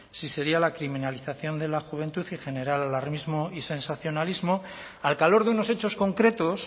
si sería la criminalización de la juventud y generar alarmismo y sensacionalismo al calor de unos hechos concretos